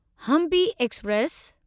Hampi express